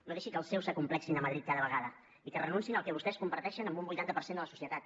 no deixi que els seus s’acomplexin a madrid cada vegada i que renunciïn al que vostès comparteixen amb un vuitanta per cent de la societat